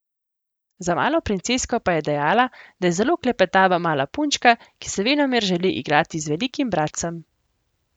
Za malo princesko pa je dejala, da je zelo klepetava mala punčka, ki se venomer želi igrati z velikim bratcem.